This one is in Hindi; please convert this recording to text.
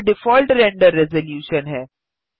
यह डिफ़ॉल्ट रेंडर रेज़लूशन है